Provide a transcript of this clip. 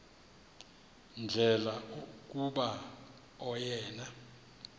ndlela kuba oyena